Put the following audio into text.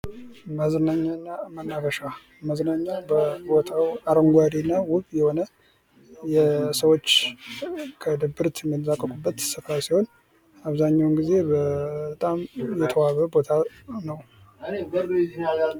መዝናኛና መናፈሻ መዝናኛ ቦታው አረንጓዴና ውብ የሆነ የሰዎች ከድብርት የሚላቀቁበት ቦታ ሲሆን አብዛኛውን ጊዜ በጣም የተዋበ ቦታ ነው።